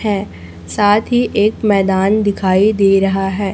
है साथ ही एक मैदान दिखाई दे रहा है।